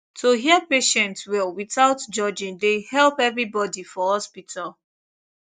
to hear patient well without judging dey help everybody for hospital